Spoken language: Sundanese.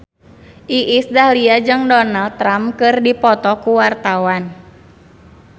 Iis Dahlia jeung Donald Trump keur dipoto ku wartawan